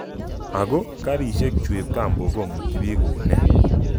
Ako, karisiek chu ab kambok komiti biik koune?